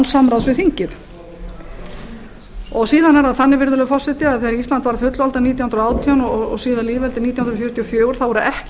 samráðs við þingið áðan er það þannig virðulegur forseti að þegar ísland varð fullvalda nítján hundruð og átján og síðar lýðveldi nítján hundruð fjörutíu og fjögur voru ekki